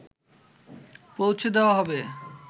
পৌছে দেওয়া হবে